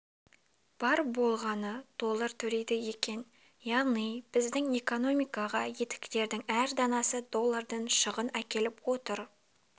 бар болғаны доллар төлейді екен яғни біздің экономикаға етіктердің әр данасы доллардан шығын әкеліп отыр